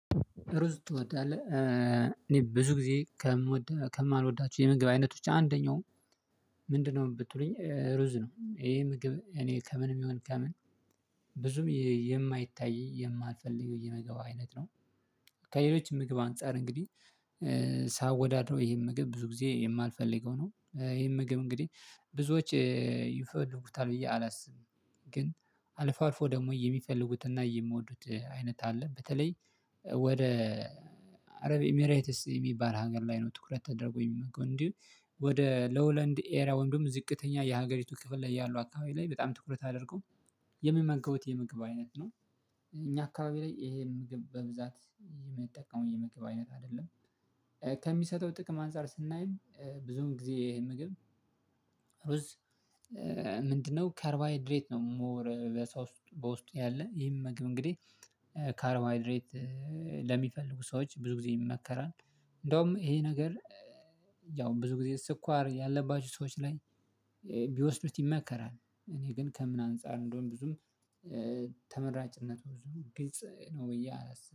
ሩዝ ትወዳለህ እኔ ብዙ ጊዜ ከምወድና ከማልወዳችሁ የምግብ አይነቶች አንደኛው ምንድነው ብትሉኝ ሩዝ ነው። ይሄ ምግብ እኔ ከምንም ይሁን ከምን ብዙም የማይታይ የማልፈልገው የምግብ አይነት ነው። ከሌሎች ምግብ አንፃር እንግዲህ ሳወዳድረው ይሄን ምግብ ብዙ ጊዜ የማልፈልገው ነው። ይሄን ምግብ እንግዲህ ብዙዎች ይፈልጉታል ብዬ አላስብም። ግን አልፎ አልፎ ደግሞ የሚፈልጉትና የምወዱት አይነት አለ በተለይ ወደ አረብ ኤሚሬትስ የሚባል ሀገር ላይ ነው ትኩረት ተደርጎ የሚመገበው እንዲሁም ወደ ሎውለንድ ኤሪያ ወይም ደግሞ ዝቅተኛ የሀገሪቱ ክፍል ላይ ያሉ አካባቢ ላይ በጣም ትኩረት አድርጎ የሚመገቡት የምግብ አይነት ነው። እኛ አካባቢ ላይ ይሄን ምግብ በብዛት የምንጠቀመው የምግብ አይነት አይደለም። ከሚሰጠው ጥቅም አንፃር ስናይም ብዙን ጊዜ ይሄ ምግብ? ምንድነው ከርባይድሬት ነው ሞር በሰውስጥ በውስጡ ያለ ይሄም ምግብ እንግዲህ ካርባይድሬት ለሚፈልጉ ሰዎች ብዙ ጊዜ ይመከራል። እንደውም ይሄ ነገር ያው ብዙ ጊዜ ስኳር ያለባችሁ ሰዎች ላይ ቢወስዱት ይመከራል። እኔ ግን ከምን አንፃር እንደሆነ ብዙም ተመራጭነቱ ብዙ ግልጽ ነው ብዬ አላስብም